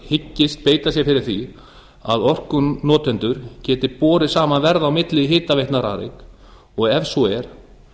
hyggist beita sér fyrir því að orkunotendur geti borið saman verð á milli hitaveitna rarik og ef svo er